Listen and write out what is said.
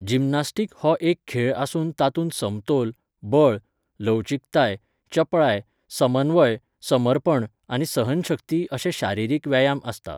Gymnastic हो एक खेळ आसून तातूंत समतोल, बळ, लवचीकताय, चपळाय, समन्वय, समर्पण आनी सहनशक्ती अशे शारिरीक व्यायाम आसता.